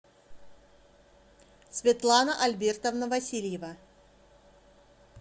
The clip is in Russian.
светлана альбертовна васильева